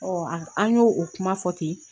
Ɔ an y'o o kuma fɔ ten